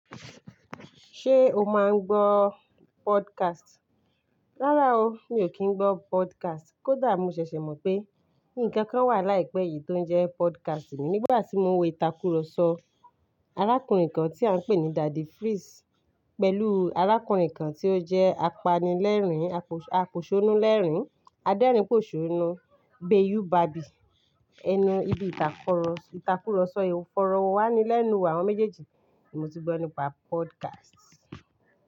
Ṣé o máa ń gbọ́ podcast? Rárá o, mi ò kí ń gbọ́ podcast kódà mo ṣẹ̀ṣẹ̀ mọ̀ pé nnkankan wà láìpẹ́ yìí tó ń jẹ́ podcast mi nígbà tí mo wo ìtàkùrọ̀sọ arákùnrin kan tí à ń pè ní Daddy Freeze pẹ̀lú arákùnrin kan tí ó jẹ́ apanilẹ́rìn-apòṣónú lẹ́rìn, adérìnpòṣónú, Bayu barbie. Ẹnu ibi ìtàkùrọ̀sọ ìtàkùrọ̀sọ ìfọ̀rọ̀wánilẹ́nu àwọn méjèèjì ni mó ti gbọ́ nípa podcast.